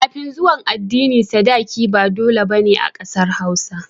Kafin zuwan adini sadaki ba da dole bane a ƙasar hausa